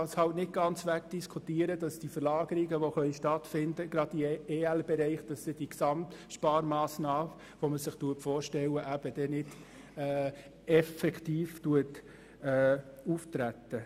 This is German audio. Es lässt sich halt nicht ganz wegzudiskutieren, dass die möglichen Verlagerungen in den EL-Bereich effektiv auftreten.